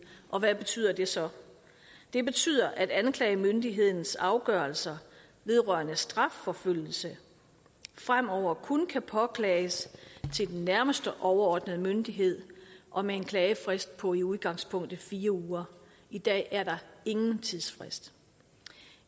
og hvad betyder det så det betyder at anklagemyndighedens afgørelser vedrørende strafforfølgelse fremover kun kan påklages til den nærmeste overordnede myndighed og med en klagefrist på i udgangspunktet fire uger i dag er der ingen tidsfrist